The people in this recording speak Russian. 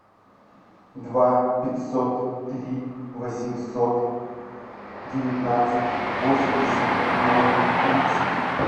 два пятьсот три восемьсот девятнадцать восемьдесят ноль тридцать